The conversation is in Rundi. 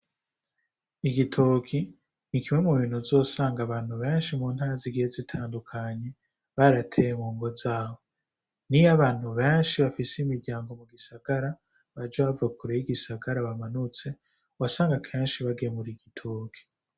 Igitoki ni kimwe mu bintu zosanga abantu benshi mu ntara zigiye zitandukanye barateye mu ngo zawo ni yo abantu benshi bafise imiryango mu gisagara baja bavakurey'igisagara bamanutse wa sanga kenshi bagemura igitoki.